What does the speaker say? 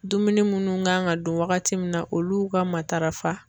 Dumuni munnu kan ka dun waagati min na olu ka matarafa.